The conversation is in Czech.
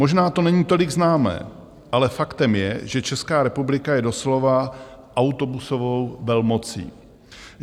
Možná to není tolik známé, ale faktem je, že Česká republika je doslova autobusovou velmocí.